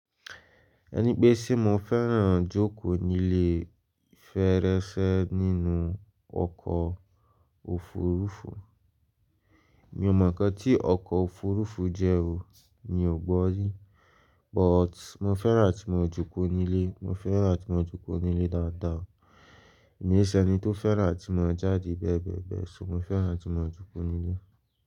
Ẹni pé se mo fẹ́ràn ijóko nílé, fẹẹrẹṣẹ nínú ọkọ̀ òfurufú. Mi ò mọ̀ ọkọ̀ tí ọkọ̀ òfurufú jẹ́ o, mi ò gbọ́ rí, but mo fẹ́ràn tí mo jókòó nílé, mo fẹ́ràn atí mo jókòó nílé dáadáa. Mi e i ṣe ẹni tó fẹ́ràn atí mo ń jáde bẹ́ẹ̀bẹ́ẹ̀ bẹ́ẹ̀ ṣùgbọ́n mo fẹ́ràn tí mas ń jókòó nílé.